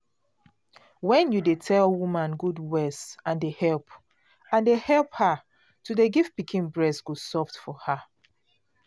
when you dey tell woman good words and dey help and dey help her to dey give pikin breast go soft for her.